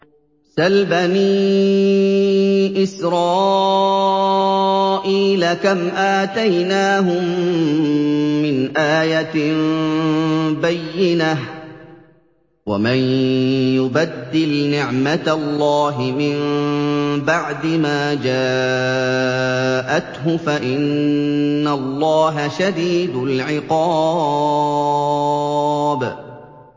سَلْ بَنِي إِسْرَائِيلَ كَمْ آتَيْنَاهُم مِّنْ آيَةٍ بَيِّنَةٍ ۗ وَمَن يُبَدِّلْ نِعْمَةَ اللَّهِ مِن بَعْدِ مَا جَاءَتْهُ فَإِنَّ اللَّهَ شَدِيدُ الْعِقَابِ